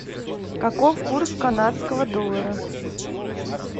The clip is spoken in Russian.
каков курс канадского доллара